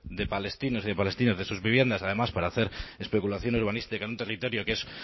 de palestinos y de palestinas de sus viviendas además para hacer especulación urbanística en un territorio que es